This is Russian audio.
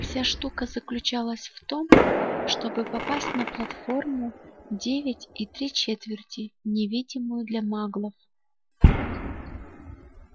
вся штука заключалась в том чтобы попасть на платформу девять и три четверти невидимую для маглов